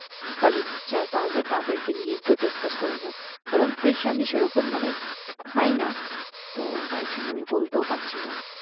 colleague যারা তাদেরকে নিয়ে একটু discuss করে নিও কারণ fish আমি সেরকম মানে খাইনা তো তাই জন্য বলতেও পারছিনা